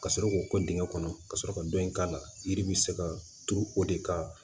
Ka sɔrɔ k'o kɛ dingɛ kɔnɔ ka sɔrɔ ka dɔ in k'a la yiri bɛ se ka turu o de kan